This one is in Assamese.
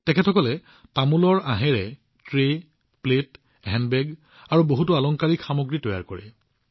এওঁলোকে তামোলৰ আঁহৰ পৰা ট্ৰে প্লেট আৰু হেণ্ডবেগৰ পৰা আৰম্ভ কৰি বহুতো আলংকাৰিক বস্তু তৈয়াৰ কৰি আছে